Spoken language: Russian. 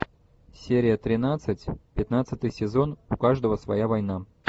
серия тринадцать пятнадцатый сезон у каждого своя война